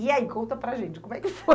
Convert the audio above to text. E aí, conta para gente, como é que foi?